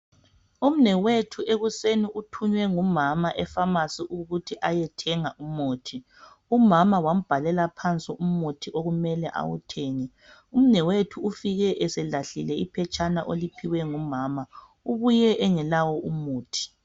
Umnewethu ekuseni uthunywe ngumama efamasi ukuthi ayethenga umuthi. Umama wambhalela phansi umuthi okumele awuthenge. Umnewethu ufike eselahlile iphetshana oliphiwe ngumama, ubuye engelawo umuthi.